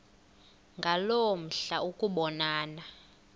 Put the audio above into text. ngaloo mihla ukubonana